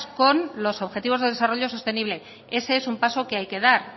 con los objetivos de desarrollo sostenible ese es un paso que hay que dar